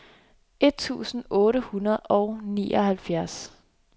et tusind otte hundrede og nioghalvfjerds